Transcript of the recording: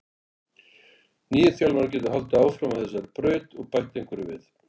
Nýi þjálfarinn getur haldið áfram á þessari braut og bætt einhverju við.